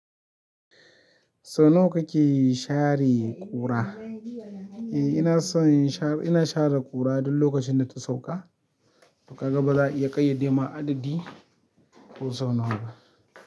So nawa kake share ƙura? Eh ina son shar, ina share ƙura duk lokacin da ta sauka, kaga baza a iya ƙayyade ma adadi ko sau nawa ba.